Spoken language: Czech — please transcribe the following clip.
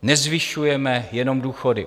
Nezvyšujeme jenom důchody.